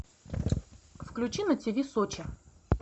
включи на тв сочи